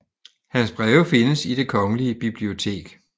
Hans breve findes i Det Kongelige Bibliotek